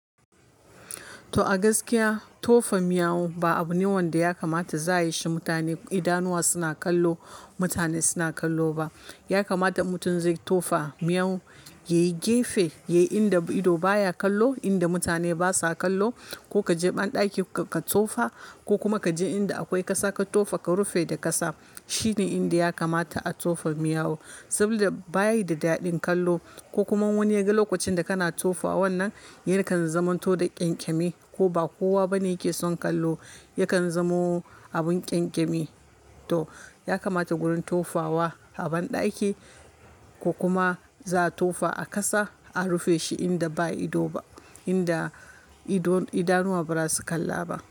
To a gaskiya tofa miyau ba abu ne wanda ya kamata za a yi shi mutane idanuwa suna kallo, mutane suna kallo ba. Ya kamata in mutum zai tofa miyau yayi gefe, yayi inda ido baya kallo, inda mutane basa kallo ko kaje banɗaki ka tofa ko kuma kaje inda akwai ƙasa ka tofa ka rufe da ƙasa. Shi ne inda ya kamata a tofa miyau saboda bayi da dadin kallo ko kuma wani ya ga lokacin da kana tofa wannan, yakan zamanto da ƙyankyami ko ba kowa bane yake son kallo, yakan zamo abun ƙyankyami. To ya kamata gurin tofawa a banɗaki ko kuma za a tofa a ƙasa a rufe shi inda ba ido ba, inda ido idanuwa ba zasu kalla ba.